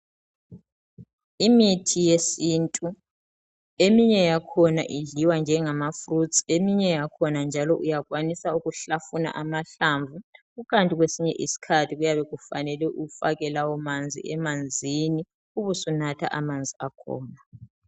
Imithi yesintu eminye yakhona idliwa nje ngamafruthu eminye yakhona uyakhona ukuhlafuna amahlanvu kukanti kwesinye isikhathi kuyabe kufanele ufake lawo manzil emanzini ubesunatha amanzi akhona .